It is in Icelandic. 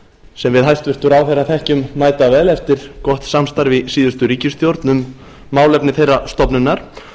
sem við hæstvirtan ráðherra þekkjum mæta vel eftir gott samstarf í síðustu ríkisstjórn um málefni þeirrar stofnunar